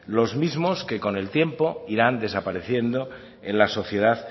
los mismos que con el tiempo irán desapareciendo en la sociedad